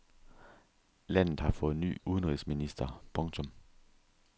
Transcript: Landet har fået ny udenrigsminister. punktum